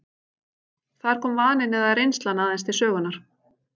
Þar komi vaninn eða reynslan aðeins til sögunnar.